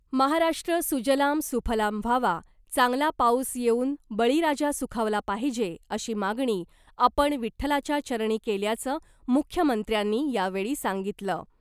महाराष्ट्र सुजलाम सुफलाम व्हावा , चांगला पाऊस येऊन बळी राजा सुखावला पाहिजे अशी मागणी आपण विठ्ठलाच्या चरणी केल्याचं मुख्यमंत्र्यांनी यावेळी सांगितलं .